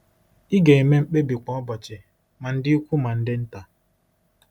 Ị ga-eme mkpebi kwa ụbọchị, ma ndị ukwu ma ndị nta.